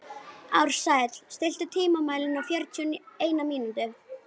Ársæll, stilltu tímamælinn á fjörutíu og eina mínútur.